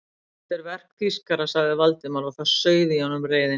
Þetta er verk þýskara sagði Valdimar og það sauð í honum reiðin.